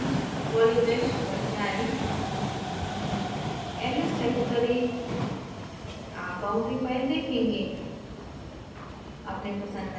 constant> polymesh पर जाएँ ls type करें आप boundary फाइल देखेंगे